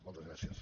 moltes gràcies